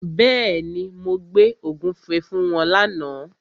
Bẹ́ẹ̀ni, mo gbé ògúnfe fún wọn lána.